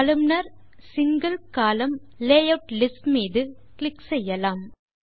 columnar single column layout list மீது click செய்யலாம்